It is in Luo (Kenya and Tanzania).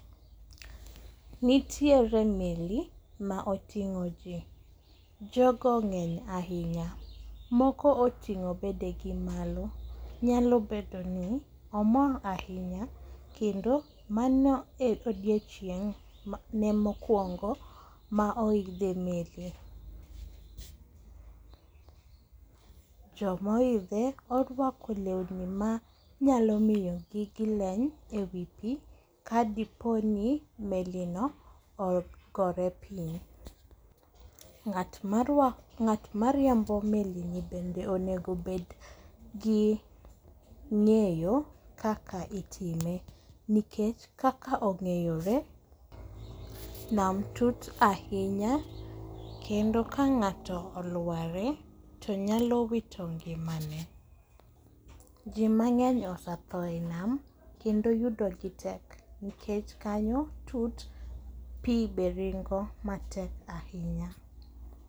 Nitiere meli ma oting'o ji, Jogo ng'eny ahinya, moko oting'o bedegi malo, nyalo bedo ni omor ahinya, kendo mano e odiochieng' ne mokwongo ma iodhe meli. Jomoidhe orwako lewni ma nyalo miyo gigileny e wi pi kadiponi melino ogore piny. Ng'at mariembo melini bende onego obed gi ng'eyo kaka itime nikech kaka ong'eyore, nam tut ahinya kendo ka ng'ato olware, to nyalo wito ngimane, ji mang'eny osetho e nam kendo yudogi tek nikech kanyo tut, pi be ringo matek ahinya.